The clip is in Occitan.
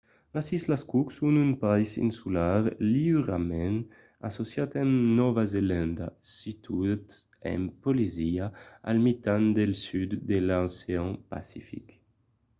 las islas cook son un país insular liurament associat amb nòva zelanda situat en polinesia al mitan del sud de l'ocean pacific